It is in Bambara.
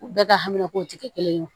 U bɛɛ ka hamina kow tɛ kɛ kelen ye